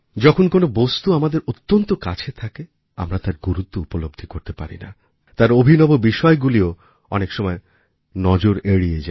যখন কোনো বস্তু আমাদের অত্যন্ত কাছে থাকে আমরা তার গুরুত্ব উপলব্ধি করতে পারি না তার অভিনব বিষয়গুলি ও অনেক সময় নজর এড়িয়ে যায়